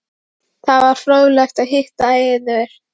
Það var fróðlegt að hitta yður.